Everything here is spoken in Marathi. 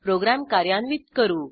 प्रोग्रॅम कार्यान्वित करू